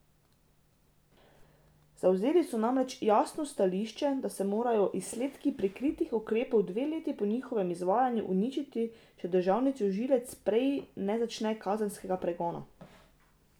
Zavzeli so namreč jasno stališče, da se morajo izsledki prikritih ukrepov dve leti po njihovem izvajanju uničiti, če državni tožilec prej ne začne kazenskega pregona.